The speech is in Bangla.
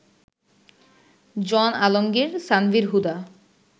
জন আলমগীর, সানভীর হুদা